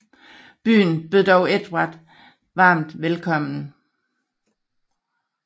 Byen bød dog Edvard varmt velkommen